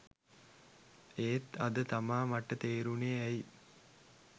එත් අද තමා මට තේරුනේ ඇයි